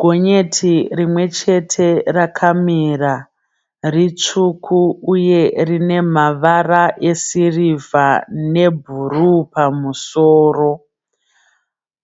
Gonyeti rimwe chete rakamira ritsvuku uye rine mavara esirivha nebhuruu pamusoro.